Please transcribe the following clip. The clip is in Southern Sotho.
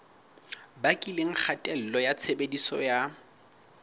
bakileng kgatello ya tshebediso ya